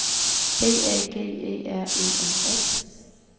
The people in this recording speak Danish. B A G E R E N S